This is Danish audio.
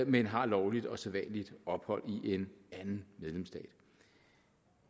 men har lovligt og sædvanligt ophold i en anden medlemsstat